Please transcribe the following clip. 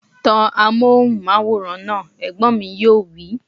Tan amóhùnmáwòrán náà! Ẹ̀gbọ́n mi yóò wí